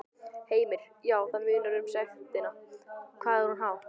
Heimir: Já, það munar um sektina, hvað er hún há?